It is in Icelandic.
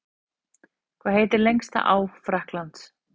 Hvað heitir lengsta á Frakklands?